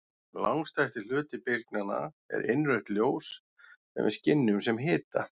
Langstærsti hluti bylgnanna er innrautt ljós sem við skynjum sem hita.